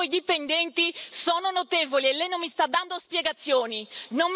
Le infrazioni dei suoi dipendenti sono notevoli e lei non mi sta dando spiegazioni.